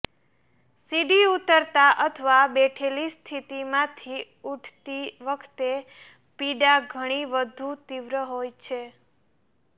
સીડી ઉતરતા અથવા બેઠેલી સ્થિતિમાંથી ઉઠતી વખતે પીડા ઘણી વધુ તીવ્ર હોય છે